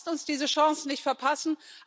Lasst uns diese Chance nicht verpassen!